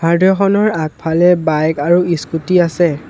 হাৰ্ডৱেৰখনৰ আগফালে বাইক আৰু স্কুটি আছে।